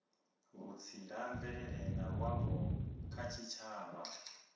vhutsila mvelele na luambo kha tshitshavha